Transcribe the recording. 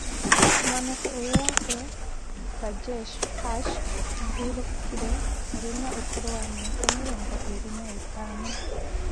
Mwanake ũyũ wake Rajesh Harsh ahurũkire arĩ na ũkũrũ wa mĩaka mĩrongo ĩrĩ na ĩtano